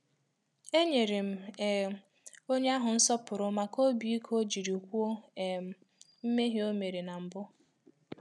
E nyere m um onye ahụ nsọpụrụ maka obi ike ọ jiri kwuo um mmehie o mere ná mbụ